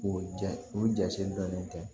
O ja o jate dɔnnen tɛ